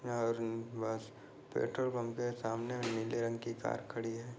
यहाँ petrol pump के सामने नीले रंग की कार खड़ी है।